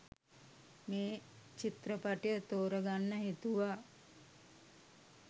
මේ චිත්‍රපටය තෝරගන්න හිතුවා